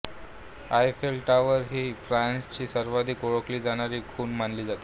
Eiffel Tower ही फ्रान्सची सर्वाधिक ओळखली जाणारी खूण मानली जाते